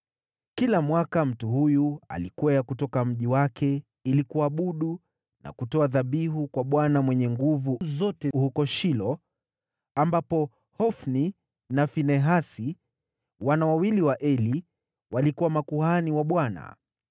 Kila mwaka mtu huyu alikwea kutoka mji wake ili kuabudu na kutoa dhabihu kwa Bwana Mwenye Nguvu Zote huko Shilo, ambapo Hofni na Finehasi, wana wawili wa Eli, walikuwa makuhani wa Bwana .